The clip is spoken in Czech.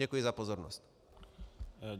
Děkuji za pozornost.